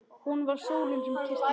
Hún var sólin sem kyssti mig.